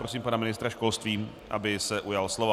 Prosím pana ministra školství, aby se ujal slova.